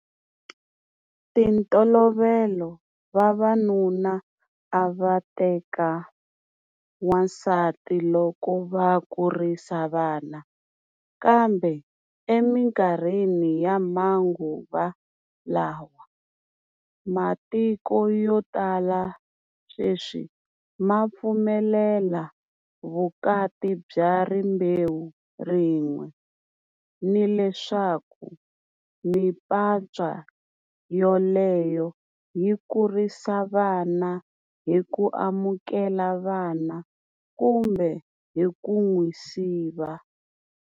Ti ntolovelo vavanuna a va ta teka wansati loko va kurisa vana, kambe eminkarhini ya manguva lawa matiko yo tala sweswi ma pfumelela vukati bya rimbewu rin'we, ni leswaku mimpatswa yoleyo yi kurisa vana hi ku amukela vana kumbe hi ku n'wi siva.